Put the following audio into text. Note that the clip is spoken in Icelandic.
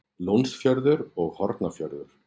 Lónsfjörður og Hornafjörður.